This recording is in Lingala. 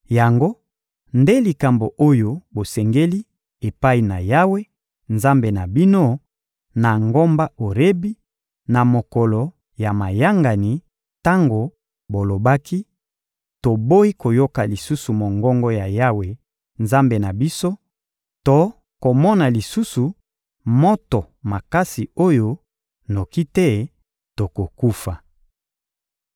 Yango nde likambo oyo bosengaki epai na Yawe, Nzambe na bino, na ngomba Orebi, na mokolo ya mayangani, tango bolobaki: «Toboyi koyoka lisusu mongongo ya Yawe, Nzambe na biso, to komona lisusu moto makasi oyo, noki te tokokufa.»